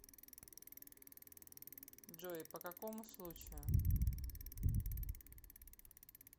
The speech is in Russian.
джой по какому случаю